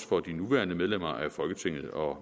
for de nuværende medlemmer af folketinget og